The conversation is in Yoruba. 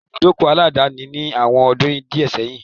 Kòsí ibùdókọ̀ aláàdáni ni àwọn ọdún díẹ̀ sẹ́yìn.